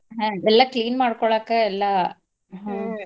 ಹ್ಮ್ ಎಲ್ಲಾ clean ಮಾಡ್ಕೋಳಾಕ ಎಲ್ಲಾ .